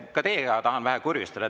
Ka teiega tahan vähe kurjustada.